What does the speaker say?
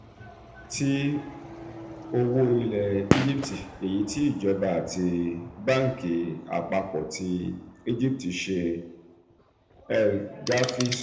[ti owó ilẹ̀ egypt] èyí tí ìjọba àti banki apapo ti egipti ṣe" egipti ṣe" el-garhy sọ.